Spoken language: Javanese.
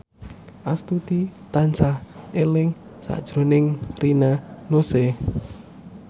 Astuti tansah eling sakjroning Rina Nose